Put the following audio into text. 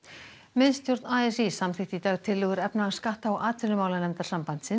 miðstjórn a s í samþykkti í dag tillögur efnahags skatta og atvinnumálanefndar sambandsins